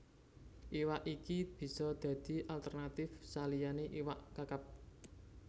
Iwak iki bisa dadi alternatif saliyané iwak Kakap